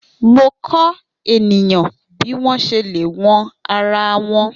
Mo kọ eniyan bi wọn ṣe le wọn ara wọn.